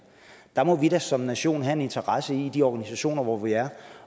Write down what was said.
der må vi da som nation have en interesse i i de organisationer hvor vi er